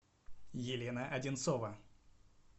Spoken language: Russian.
елена одинцова